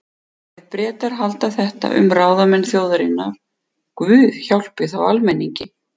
Ef Bretar halda þetta um ráðamenn þjóðarinnar, guð hjálpi þá almenningi.